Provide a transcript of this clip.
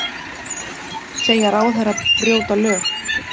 Segja ráðherra brjóta lög